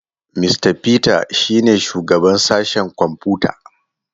Mista Peter shi ne shugaban sashen kwamfuta.